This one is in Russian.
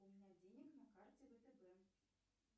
у меня денег на карте втб